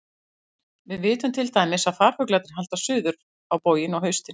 Við vitum til dæmis að farfuglarnir halda suður á bóginn á haustin.